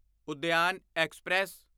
Udyan express